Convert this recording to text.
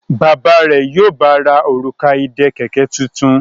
Bàbá rẹ yíò bá rà Òrùka ìdè kẹ̀kẹ́ títún.